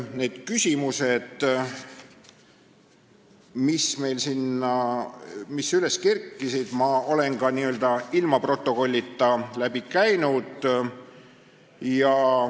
Need küsimused, mis üles kerkisid, ma olen ka ilma protokolli jälgimata läbi käinud.